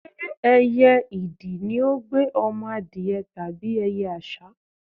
Ṣé ẹyẹ idì ní ó gbé ọmọ adìẹ tàbí ẹyẹ àṣá?